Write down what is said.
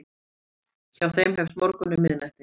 Hjá þeim hefst morgunn um miðnætti.